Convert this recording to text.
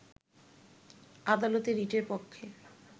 আদালতে রিটের পক্ষে